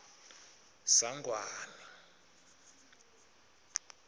sangwane